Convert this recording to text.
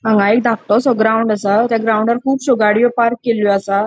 हांगा एक दाकटोसो ग्राउंड असा थ्य ग्रॉउंडार कूबशयों गाड़ियों पार्क केलयों असा.